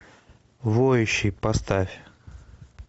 воющий поставь